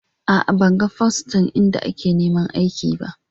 A'a, ban gan fostan inda a ke neman aiki ba.